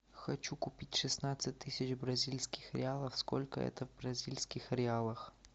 хочу купить шестнадцать тысяч бразильских реалов сколько это в бразильских реалах